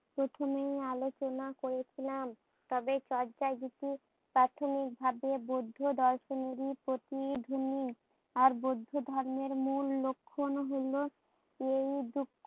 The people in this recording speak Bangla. প্রথমে আলচনা করেছিলাম। তবে চর্যাগীতি প্রাথমিকভাবে বৌদ্ধ দর্শনেরই প্রতিদ্ধনি। আর বৌদ্ধ ধর্মের মূল লক্ষন হোল এই দু